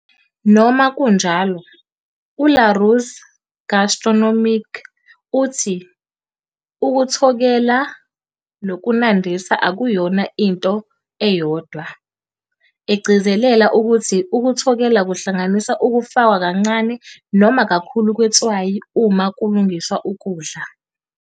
Noma kunjalo, u-Larousse Gastronomique uthi "ukuthokela nokunandisa akuyona into eyodwa", egcizelela ukuthi ukuthokela kuhlanganisa ukufakwa kancane Noma kakhulu kwetswayi uma kulungiswa ukudla.